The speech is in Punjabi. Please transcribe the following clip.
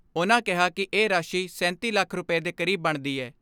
ਉਨ੍ਹਾਂ ਕਿਹਾ ਕਿ ਇਹ ਰਾਸ਼ੀ ਸੈਂਤੀ ਲੱਖ ਰੁਪੈ ਦੇ ਕਰੀਬ ਬਣਦੀ ਐ।